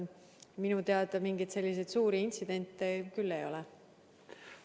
Minu teada mingeid suuri intsidente küll ei ole.